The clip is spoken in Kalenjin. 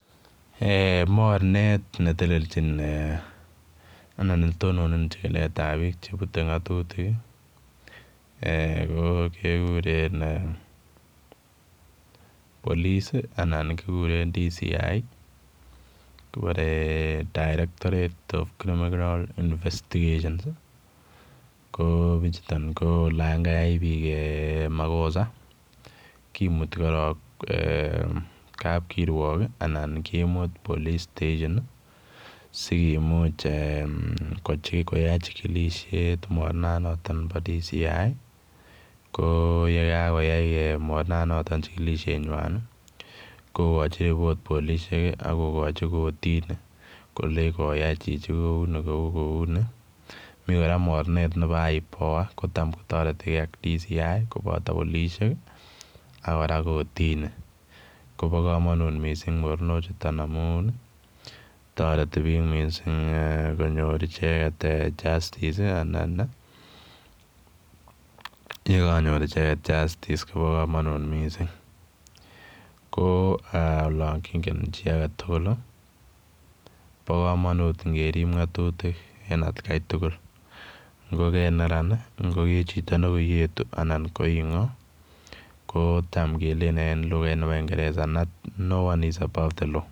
Eeh mornet netelechin ee anan netononjinetab biik chebute ng'atutik ee ko kekuren eeh polisi anan ko DCI kiboree 'Directorate of criminal investigation' koo bichuton olan kayai biik makosa kimuti koron ee kapkiruok anan kimut polis station sikimuch ee koyachikilishe mornanoton bo DCI koo yekakoyai mornanoton chikilishenwan kokochi report polishek ako kochi kotini kolei koyai chichi kou ni koo uni mi kora mornet nebo ipoa netam kotoretike ak DCI kopoto polisiek ak kora kotini kobo kamonut missing mornochuton amun toreti biik missing konyor icheket ee justice anan ii yekanyor icheket justice kobokomonut missing koo aa olon kingen chi agetugul bokomonut angerip ngatutik en atkai tugul ngo ke neran ii, ngo ke chito nekoiyetu, anan ko ing'o kotam kelelen en lukait nebo kingeresa no one is above the law.